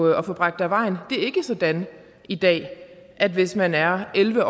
at få bragt af vejen det er ikke sådan i dag at hvis man er elleve